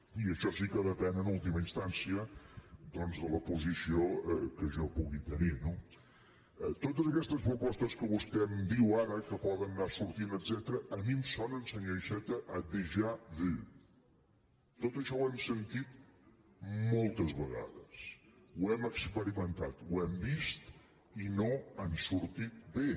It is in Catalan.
i això sí que depèn en ultima instància doncs de la posició que jo pugui tenir no totes aquestes propostes que vostè em diu ara que poden anar sortint etcètera a mi em sonen senyor iceta a hem experimentat ho hem vist i no han sortit bé